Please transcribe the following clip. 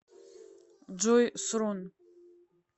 джой срун